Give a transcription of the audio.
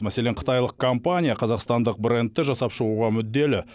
мәселен қытайлық компания қазақстандық брендті жасап шығуға мүдделі